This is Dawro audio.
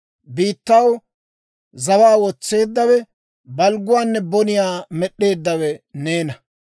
Biittaw zawaa wotseeddawe, balgguwaanne boniyaa med'eeddawe neena.